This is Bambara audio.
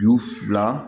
Ju fila